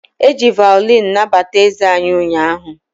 E ji vaolini nabata eze anyị ụnyaahụ.